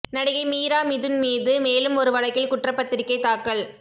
நடிகை மீரா மிதுன் மீது மேலும் ஒரு வழக்கில் குற்றப்பத்திரிகை தாக்கல்